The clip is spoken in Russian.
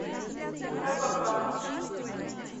рапапам